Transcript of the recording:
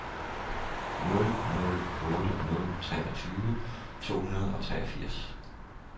nul nul otte nul treogtyve to hundrede og treogfirs